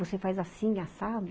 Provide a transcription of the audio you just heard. Você faz assim, assado.